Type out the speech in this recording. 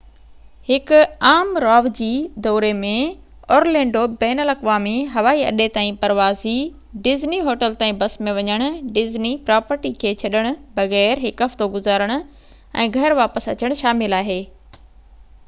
هڪ عام راوجي دوري ۾ اورلينڊو بين الاقوامي هوائي اڏي تائين پروازي ڊزني هوٽل تائين بس ۾ وڃڻ ڊزني پراپرٽي کي ڇڏڻ بغير هڪ هفتو گذارڻ ۽ گهر واپس اچڻ شامل آهي